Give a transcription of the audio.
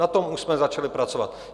Na tom už jsme začali pracovat.